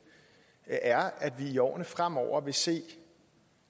er at vi i årene fremover vil se